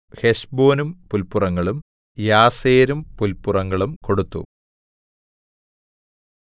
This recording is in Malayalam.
ഹെശ്ബോനും പുല്പുറങ്ങളും യാസേരും പുല്പുറങ്ങളും കൊടുത്തു